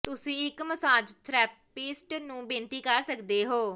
ਤੁਸੀਂ ਇੱਕ massage therapist ਨੂੰ ਬੇਨਤੀ ਕਰ ਸਕਦੇ ਹੋ